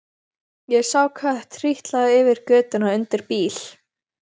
Ég sá kött trítla yfir götuna undir bíl.